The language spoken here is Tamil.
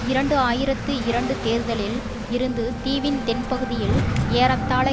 இரண்டு ஆயிரத்தி இரண்டு தேர்தலில் இருந்து தீவின் தென்பகுதியில் ஏறத்தாழ